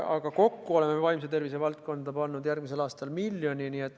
Aga kokku oleme vaimse tervise valdkonda pannud järgmiseks aastaks miljoni.